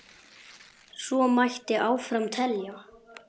Svo mætti áfram telja.